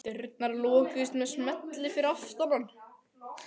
Dyrnar lokuðust með smelli fyrir aftan hann.